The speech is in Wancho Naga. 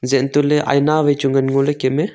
zak ang toh ley aina wai chu ngan ngo ley kem a.